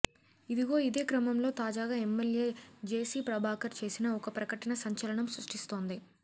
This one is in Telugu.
ఇదిగో ఇదే క్రమంలో తాజాగా ఎమ్మెల్యే జెసి ప్రభాకర్ చేసిన ఒక ప్రకటన సంచలనం సృష్టిస్తోంది